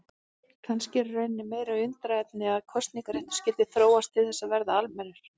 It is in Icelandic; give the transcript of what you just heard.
Kannski er í rauninni meira undrunarefni að kosningaréttur skyldi þróast til þess að verða almennur.